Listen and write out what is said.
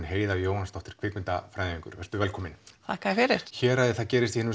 Heiða Jóhannsdóttir kvikmyndafræðingur vertu velkomin takk fyrir héraðið gerist í hinum